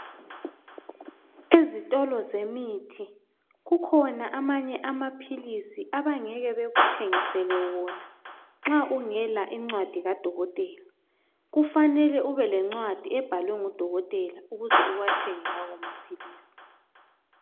Ezitolo zemithi kukhona amanye amapills abangeke bekuthengisele wona nxa ungela incwadi kadokotela kufanele ube lencwadi ebhalwe ngudokotela ukuze uwathenge lawa mapills